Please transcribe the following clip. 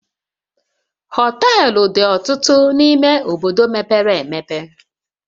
Hoteluu dị ọtụtụ n'ime obodo mepere emepe